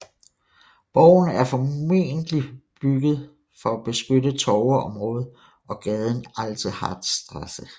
Borgen er formodentlig bygget for at beskytte torveområdet og gaden Alte Harzstraße